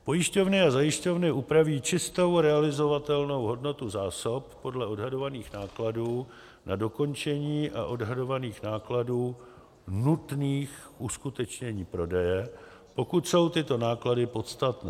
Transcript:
Pojišťovny a zajišťovny upraví čistou realizovatelnou hodnotu zásob podle odhadovaných nákladů na dokončení a odhadovaných nákladů nutných k uskutečnění prodeje, pokud jsou tyto náklady podstatné.